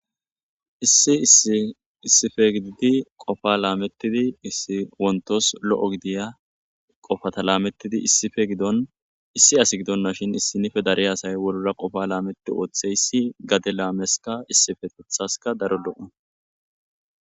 Issi issi issipe gididi qofaa laamettidi issi wonttos lo7o gidiya qofata laamettidi issipe giddon issi asi gidonnashin issinnife dariya asay wolura qofaa laametti ootheyssi gade laameskka issipetethaskka daro lo7o